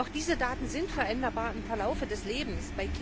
Auch diese Daten sind veränderbar im Laufe des Lebens.